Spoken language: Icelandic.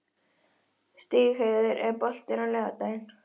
Stígheiður, er bolti á laugardaginn?